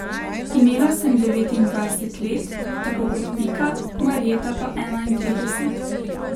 Imela sem devetindvajset let, tako kot Pika, Marjeta pa enaintrideset.